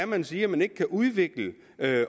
man siger at man ikke kan udvikle